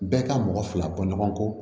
Bɛɛ ka mɔgɔ fila bɔ ɲɔgɔn kɔ